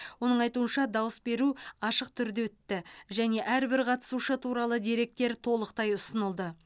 оның айтуынша дауыс беру ашық түрде өтті және әрбір қатысушы туралы деректер толықтай ұсынылды